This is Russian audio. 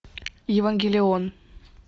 евангелион